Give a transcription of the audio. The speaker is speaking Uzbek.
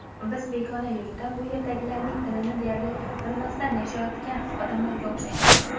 Biz begona yurtda bu yerdagilarning tilini deyarli bilmasdan yashayotgan odamlarga o‘xshaymiz.